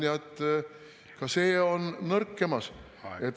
No ma näen, et ka see on nõrkemas.